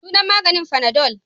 Sunan maganin fanadol.